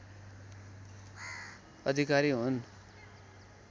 अधिकारी हुन्